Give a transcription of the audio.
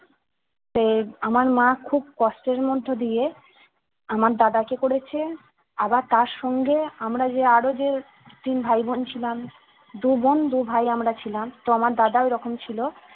সে আমার মা খুব কষ্টের মধ্য দিয়ে আমার দাদা কে করেছে আবার তার সঙ্গে আমরা যে আরো যে তিন ভাই বোন ছিলাম দু বোন দু ভাই আমরা ছিলাম তো আমার দাদা ওই রকম ছিল